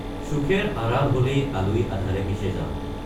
চোখেৰ আড়াল হলেই আলোয় আঁধাৰে মিশে যাও।